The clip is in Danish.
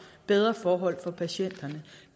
bedre forhold for patienterne